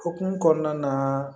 Okumu kɔnɔna na